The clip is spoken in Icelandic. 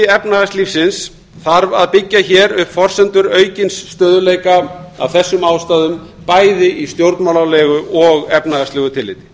efnahagslífsins þarf að byggja hér upp forsendur aukins stöðugleika af þessum ástæðum bæði í stjórnmálalegu og efnahagslegu tilliti